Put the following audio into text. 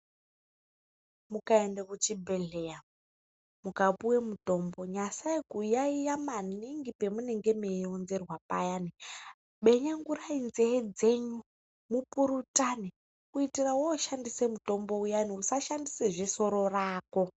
Ukaende kuchibhehleya ukapuwa mutombo nyasai kuyayiya maningi pamunege meironzerwa payani menyengurai nzveve dzenyu mupurutane kuitira yoshandisa mutombo uyani usashandisa zvesoro rako